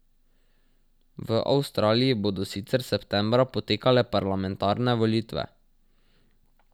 V Avstraliji bodo sicer septembra potekale parlamentarne volitve.